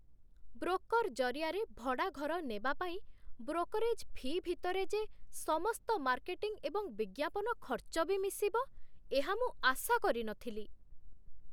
Broker ଜରିଆରେ ଭଡ଼ା ଘର ନେବା ପାଇଁ ବ୍ରୋକରେଜ୍ ଫି' ଭିତରେ ଯେ ସମସ୍ତ ମାର୍କେଟିଂ ଏବଂ ବିଜ୍ଞାପନ ଖର୍ଚ୍ଚ ବି ମିଶିବ, ଏହା ମୁଁ ଆଶା କରିନଥିଲି।